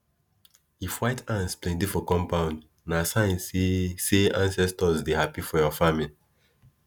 if white ants plenty for compound na sign say say ancestors dey happy for your farming